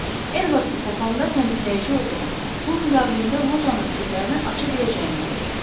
Edvardsı tapanda təmizləyici olduğumu, pul müqabilində lojanın sirlərini aça biləcəyimi deyəcəm.